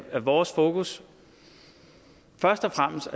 er vores fokus først og fremmest